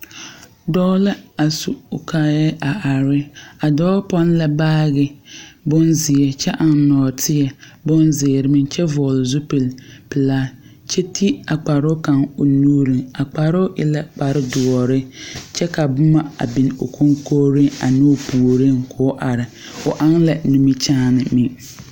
Dɔɔ la a su o kaaya a are. A dɔɔ pon la baagi bon zie kyɛ eŋ norteɛ bon ziire meŋ. Kyɛ vogle zupul pulaa kyɛ te a kparo kang o nuureŋ. A kparoo e la kpare duore kyɛ ka boma a biŋ o konkoreŋ ane o pooreŋ. K'o are. O eŋe la nimikyaane meŋ.